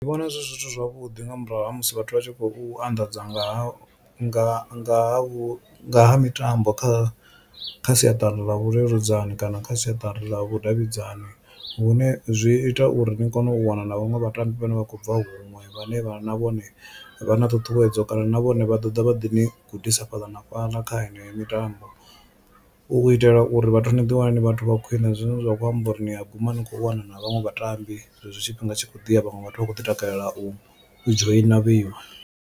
Ndi vhona zwi zwithu zwavhuḓi nga murahu ha musi vhathu vha tshi khou anḓadza nga ha nga nga ha mitambo kha siaṱari ḽa vhuleludzani kana kha siaṱari ḽa vhudavhidzani vhune zwi ita uri ni kone u wana na vhaṅwe vhatambi vhane vha khou bva huṅwe vhane vha na vhone vha na ṱhuṱhuwedzo kana na vhone vha ḓo ḓa vha ḓi ni gudisa fhaḽa na fhaḽa kha heneyo mitambo, u itela uri vhathu ni ḓiwana ni vhathu vha khwine zwine zwa kho amba uri ni a guma ni khou wana na vhaṅwe vhatambi zwezwo tshifhinga tshi khou ḓi ya vhaṅwe vhathu vha khou ḓi takalela u dzhoina vheiwa.